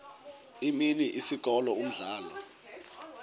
imini isikolo umdlalo